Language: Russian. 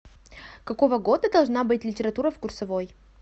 какого года должна быть литература в курсовой